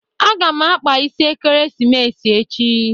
Aga m akpa isi Ekeresimesi echi.